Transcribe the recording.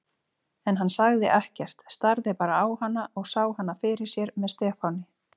En hann sagði ekkert, starði bara á hana og sá hana fyrir sér með Stefáni.